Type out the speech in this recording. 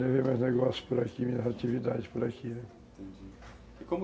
Levei meus negócios por aqui, minhas atividades por aqui, né? Uhum, e como...